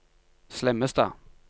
Slemmestad